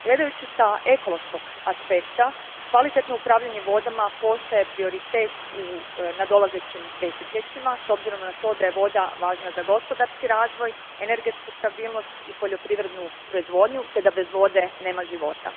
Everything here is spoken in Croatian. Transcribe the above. Gledajući s ekološkog aspekta, kvalitetno upravljanje vodama postaje prioritet u nadolazećim desetljećima s obzirom na to da je voda važna za gospodarski razvoj, energetsku stabilnost i poljoprivrednu proizvodnju te da bez vode nema života.